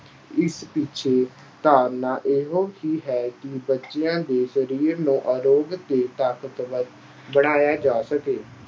ਇਸ ਪਿੱਛੇ ਧਾਰਨਾ ਇਹੋ ਹੀ ਹੈ ਕਿ ਬੱਚਿਆਂ ਦੇ ਸਰੀਰੀ ਨੂੰ ਅਰੋਗ ਅਤੇ ਤਾਕਤਵਰ ਬਣਾਇਆ ਜਾ ਸਕੇ।